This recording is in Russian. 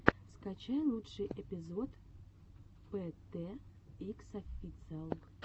скачай лучший эпизод пэ тэ икс официал